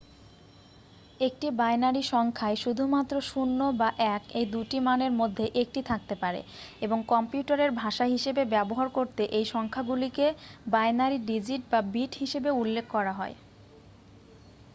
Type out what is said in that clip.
একটি বাইনারি সংখ্যায় শুধুমাত্র 0 বা 1 এই দুটি মানের মধ্যে একটি থাকতে পারে এবং কম্পিউটারের ভাষা হিসাবে ব্যবহার করতে এই সংখ্যাগুলিকে বাইনারি ডিজিট বা বিট হিসাবে উল্লেখ করা হয়